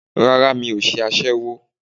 Rárá, mi ṣe aṣẹ́wó.